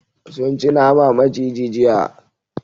Sun ci nama maciji jiya.